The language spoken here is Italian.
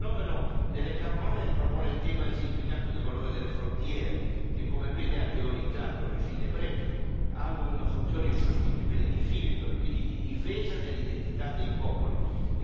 Il fenomeno delle carovane ripropone il tema del significato del valore delle frontiere che, come bene ha teorizzato Régis Debray, hanno una funzione insostituibile di filtro e quindi di difesa dell'identità dei popoli.